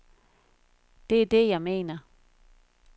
Det er det, jeg mener.